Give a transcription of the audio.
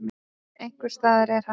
Einhvers staðar er hann.